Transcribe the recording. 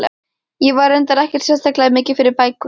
Ég var reyndar ekkert sérstaklega mikið fyrir bækur.